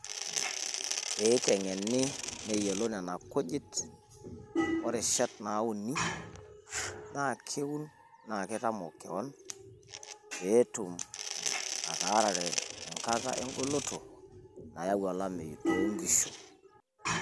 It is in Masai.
Pee iteng'eni niyiolou nena kujit orishat naauni, naa keun naa kitamok keon pee etum ataarare enkata engoloto nayau olameyu toonkishu.